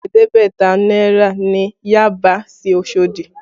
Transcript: Ẹ̀ẹ́dẹ́gbẹ̀ta náírà ni Yaba sí Osodi